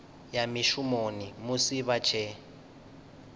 ya mushumoni musi vha tshee